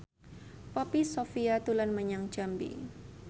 Poppy Sovia dolan menyang Jambi